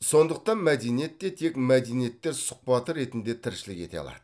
сондықтан мәдениет те тек мәдениеттер сұхбаты ретінде тіршілік ете алады